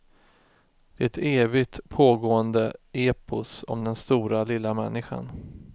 Det är ett evigt pågående epos om den stora lilla människan.